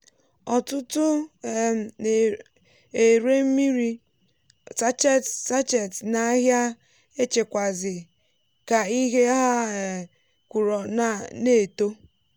ọtụtụ um na-ere mmiri um sachet n’ahịa èchékwazi- ka ihe ha um kụrụ na-eto.